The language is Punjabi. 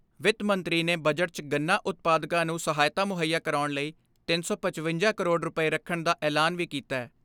ਵਿੱਤ ਮੰਤਰੀ ਨੇ ਬਜਟ 'ਚ ਗੰਨਾ ਉਤਪਾਦਕਾਂ ਨੂੰ ਸਹਾਇਤਾ ਮੁੱਹਈਆ ਕਰਾਉਣ ਲਈ ਤਿੰਨ ਸੌ ਪਚਵੰਜਾ ਕਰੋੜ ਰੁਪਏ ਰੱਖਣ ਦਾ ਐਲਾਨ ਵੀ ਕੀਤੈ।